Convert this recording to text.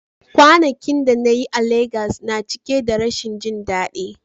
Kwanakin da na yi a Legas na cike da rashin jin daɗi.